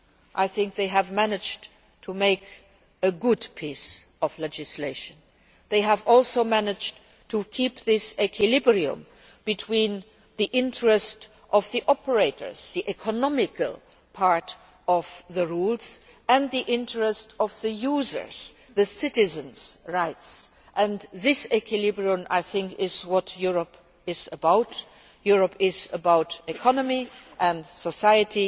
I think that they have managed to make a good piece of legislation. They have also managed to keep this equilibrium between the interests of the operators, the economical part of the rules, and the interests of the users, the citizens' rights, and this equilibrium I think is what Europe is about Europe is about economy and society.